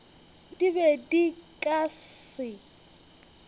di be di ka se